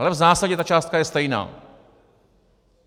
Ale v zásadě ta částka je stejná.